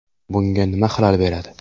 Bunga nima xalal beradi?